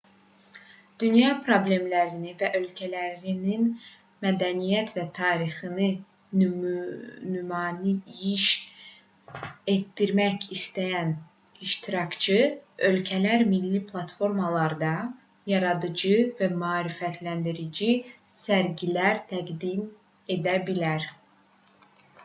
dünya problemlərini və ölkələrinin mədəniyyət və tarixini nümayiş etdirmək istəyən iştirakçı ölkələr milli platformalarda yaradıcı və maarifləndirici sərgilər təqdim edə bilər